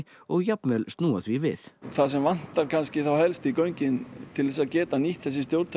og jafnvel snúa því við það sem vantar þá kannski helst í göngin til að geta nýtt þessi stjórntæki